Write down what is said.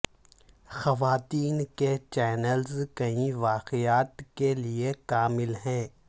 خواتین کے چینلز کئی واقعات کے لئے کامل ہیں